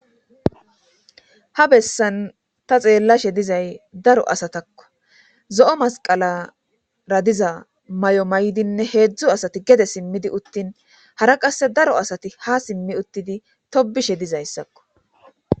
Ha bessan ta xeellashe dizay daro asatakko zo7o masqalara diza may7o may7dinne heedzdzu asati gede simmidi uttin hara qasse daro asati ha simmi uttidi tobishe dizayssakko.